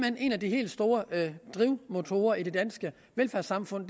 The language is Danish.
hen en af de helt store motorer i det danske velfærdssamfund